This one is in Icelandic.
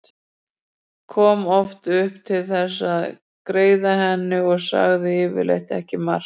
Kom oft upp til þess að greiða henni en sagði yfirleitt ekki margt.